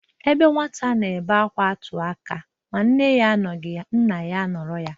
Ebe nwata na-ebe akwa atụ aka, ma nne ya anọghị ya, nna ya anọrọ ya.